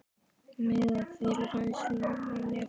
Meðal þeirra helstu má nefna